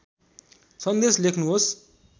सन्देश लेख्नुहोस्